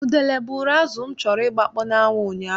Udele buuru azụ m chọrọ ịgbakpọ n'anwụ ụnyaahụ.